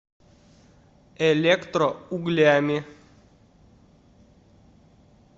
электроуглями